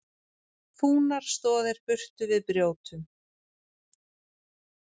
Fúnar stoðir burtu við brjótum!